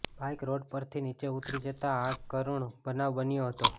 bike road પરથી નીચે ઉતરી જતાં આ કરૂણ બનાવ બન્યો હતો